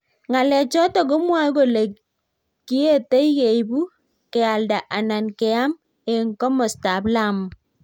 ng'alechoto komwoei kole kietei keibu, kealda anan keam eng komostab Lamu